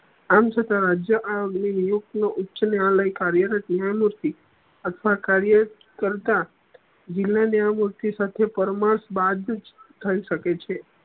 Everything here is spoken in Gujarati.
આમ છતાં રાજ્ય આ નીયુક્તીયો ઉચ્ચ ન્યાલય કાર્યલય હતી અથવા કાર્ય કરતા જિલા નિયમો થી સાથે પર્થમાસ બાદ થઇ સકે છે